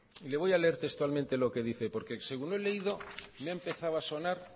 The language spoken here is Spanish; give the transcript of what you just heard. le voy a leer textualmente lo que dice porque según lo he leído me ha empezado a sonar